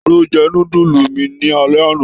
Talo jẹ núdúsí mí ni alẹ́ àna?